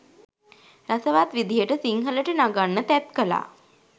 රසවත් විදිහට සිංහලට නගන්න තැත් කළා.